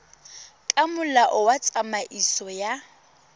ka molao wa tsamaiso ya